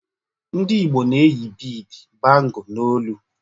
Ndị Igbo na-eyi Bead, bangle, na olu.